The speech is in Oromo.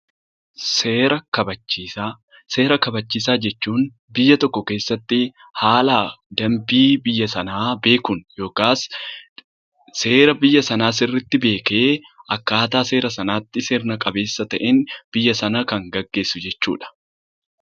Seera kabachiisaa jechuun biyya tokko keessatti haala dambii biyya sanaa beekuun yookiin seera biyya sanaa sirriitti beekee akkaataa seera sanaatti sirna qabeessaan biyya sana kan gaggeessu jechuudha